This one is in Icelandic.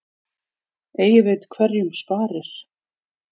Eigi veit hverjum sparir.